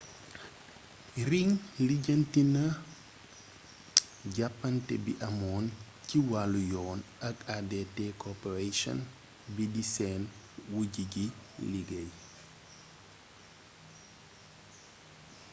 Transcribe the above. ring lijjanti na jàppante bi amoon ci wàllu yoon ak adt corporation bii di seen wujj ci liggéey